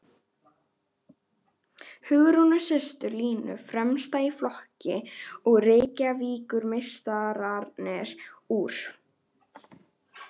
Hugrúnu systur Línu fremsta í flokki og Reykjavíkurmeistararnir úr